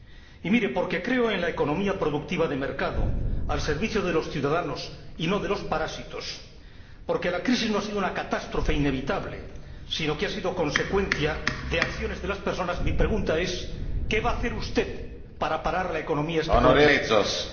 Y porque creo en la economía productiva de mercado al servicio de los ciudadanos y no de los parásitos, porque la crisis no ha sido una catástrofe inevitable, sino que ha sido consecuencia de acciones de las personas, mi pregunta es ¿qué va a hacer usted para parar la economía especulativa?